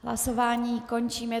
Hlasování končím.